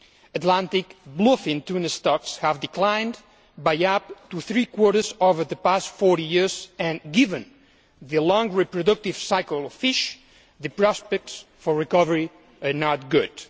Atlantic bluefin tuna stocks have declined by up to three quarters over the past 40 years and, given the long reproductive cycle of the fish, the prospects for recovery are not good.